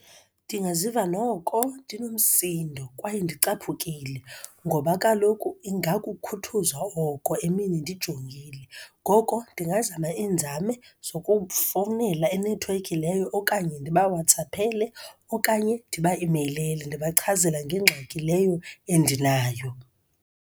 Ndingaziva noko ndinomsindo kwaye ndicaphukile, ngoba kaloku ingakukhuthuzwa oko emini ndijongile. Ngoko ndingazama iinzame zokufowunela inethiwekhi leyo, okanye ndibawatsaphele, okanye ndibameyilele, ndibachazele ngengxaki leyo endinayo.